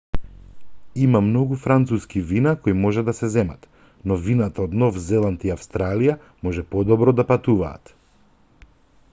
има многу француски вина кои може да се земат но вината од нов зеланд и австралија може подобро да патуваат